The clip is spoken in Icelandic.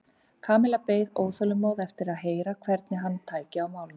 Kamilla beið óþolinmóð eftir því að heyra hvernig hann tæki á málinu.